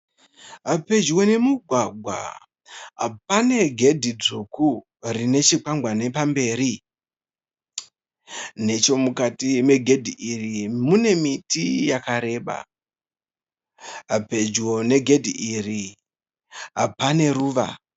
Pedyo nemugwagwa panegedhi dzvuku, rinechikwagwari pamberi. Nechomukati pegedhi iri mune miti yakareba. Pedyo negedhi iri paneruva